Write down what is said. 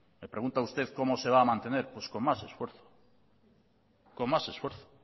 me pregunta usted cómo se va a mantener pues con más esfuerzo claro